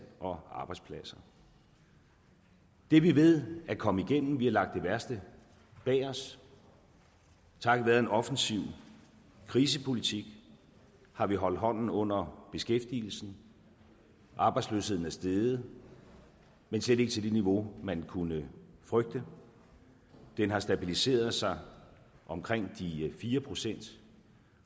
og arbejdspladser det er vi ved at komme igennem vi har lagt det værste bag os takket være en offensiv krisepolitik har vi holdt hånden under beskæftigelsen arbejdsløsheden er steget men slet ikke til det niveau man kunne frygte den har stabiliseret sig omkring de fire pct